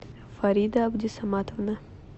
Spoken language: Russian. фарида абдисоматовна